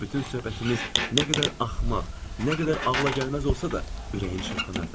Bütün söhbətimiz nə qədər axmaq, nə qədər ağla gəlməz olsa da, ürəyim çırpınırdı.